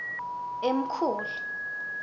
emkhuhlu